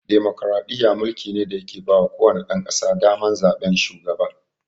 Demokaraɗiyya mulki ne da ya ke bawa ko wane ɗan ƙasa daman zaɓen shugaba